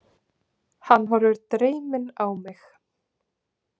Hann horfir dreyminn á mig.